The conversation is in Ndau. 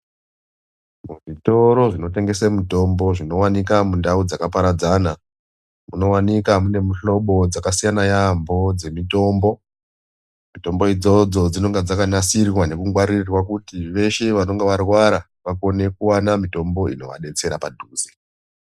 Muzvitoro zvinotengese mitombo zvinowanika mundau dzakaparadzana munowanika mune mihlobo dzaksiyana yaamho dzemitombo ,mitombo idzodzo dzinoga dzakanasirwa nekugwaririrwa kuti veshe vanenge varwara vakone kuwana mitombo inovadetsera padhuze.